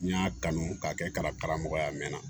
N y'a kanu k'a kɛ karamɔgɔya mɛna